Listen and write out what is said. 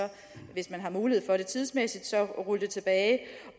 hvis man har mulighed for det tidsmæssigt rulle det tilbage